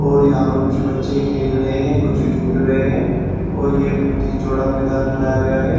और यहां पर कुछ बच्चे खेल रहे हैं कुछ झूल रहे हैं और ये बहोत चौड़ा मैदान बनाया गया है।